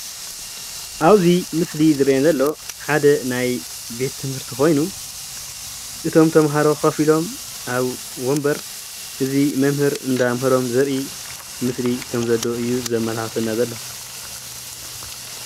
ኣብዚ ምስሊ ዝረአየና ዘሎ ሓደ ናይ ቤት ትምህርቲ ኮይኑ እቶም ተምሃሮ ኮፍ ኢሎም ኣብ ወንበር እዚ መምህር እንዳምሃሮም ዘርኢ ምስሊ ከም ዘለው እዩ ዘመላኽተና ዘሎ፡፡